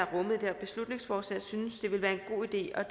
her beslutningsforslag hun synes det vil være en god idé at